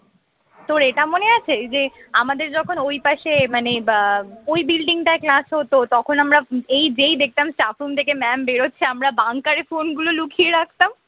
তোর এটা মনে আছে যে আমাদের যখন ওই পাশে মানে আহ ওই building টায় class হত তখন আমরা এই যেই দেখতাম চাতুন থেকে mam বেরোচ্ছে আমার bunker এ phone গুলো লুকিয়ে রাখতাম